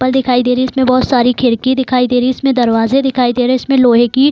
पल दिखाई दे रही है। इसमें बहुत सारी खिड़की दिखाई दे रही है। इसमें दरवाज़े दिखाई दे रहें हैं। इसमें लोहे की --